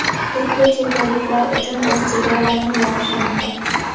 Turkiya chet elliklar uchun o‘z chegaralarini yopishi mumkin.